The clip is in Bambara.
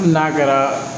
Hali n'a kɛra